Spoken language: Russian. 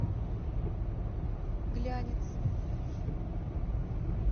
глянец